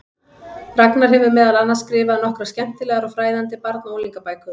Ragnar hefur meðal annars skrifað nokkrar skemmtilegar og fræðandi barna- og unglingabækur.